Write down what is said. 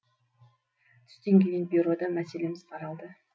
түстен кейін бюрода мәселеміз қаралды